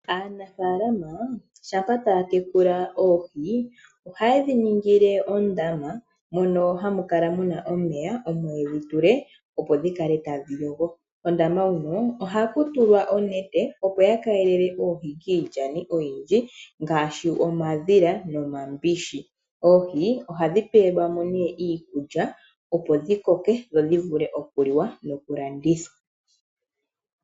Aanafaalama shampa taya tekula oohi, ohaye dhi ningile ondaama moka hamu kala mu na omeya, opo dhi kale tadhi yogo. Kondaama huno ohaku tulwa onete, opo ya keelele oohi kiilyani oyindji ngaashi omadhila nomambishi. Oohi ohadhi pewelwa mo iikulya, opo dhi koke dhi vule okuliwa nokulandithwa.